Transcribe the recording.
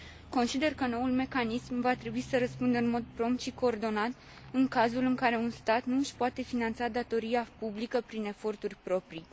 Consider că noul mecanism va trebui să răspundă în mod prompt și coordonat în cazul în care un stat nu și poate finanța datoria publică prin eforturi proprii.